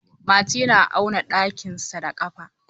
Mati na auna ɗakinsa da kafa.